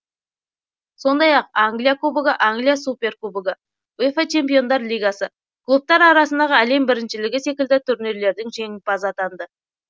сондай ақ англия кубогы англия суперкубогы уефа чемпиондар лигасы клубтар арасындағы әлем біріншілігі секілді турнирлердің жеңімпазы атанды